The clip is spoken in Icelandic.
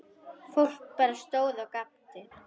Fólk bara stóð og gapti.